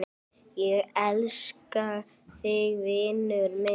Ég elska þig, vinur minn.